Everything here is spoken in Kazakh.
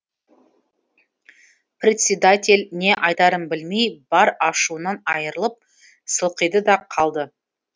председатель не айтарын білмей бар ашуынан айрылып сылқиды да қалды